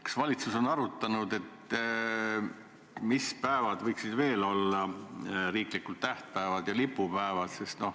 Kas valitsus on arutanud, mis päevad võiksid veel olla riiklikud tähtpäevad ja lipupäevad?